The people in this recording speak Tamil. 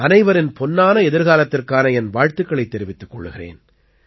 அனைவரின் பொன்னான எதிர்காலத்திற்கான என் வாழ்த்துக்களைத் தெரிவித்துக் கொள்கிறேன்